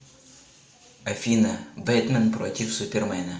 афина бэтмэн против супермена